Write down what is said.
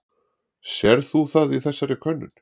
Sérð þú það í þessari könnun?